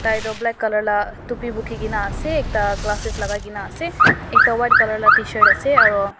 tai toh black color la topi bukhi gina ase ekta glasses lagai gina ase ekta white color la tshirt ase aro--